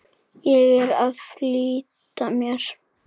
Ég er að flýta mér!